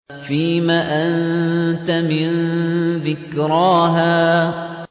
فِيمَ أَنتَ مِن ذِكْرَاهَا